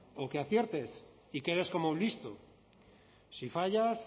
o que aciertes y quedes como un listo si fallas